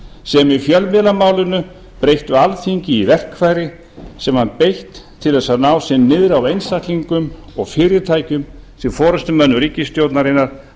sem í fjölmiðlamálinu breyttu alþingi í verkfæri sem var beitt til að ná sér niðri á einstaklingum og fyrirtækjum sem forustumönnum ríkisstjórnarinnar